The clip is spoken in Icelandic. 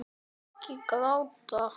Ég vil ekki hafa það.